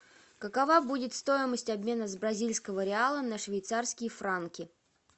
какова будет стоимость обмена с бразильского реала на швейцарские франки